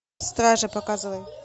стража показывай